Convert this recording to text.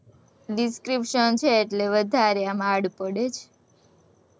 description છે, એટલે વધારે એમાં hard પડે છે,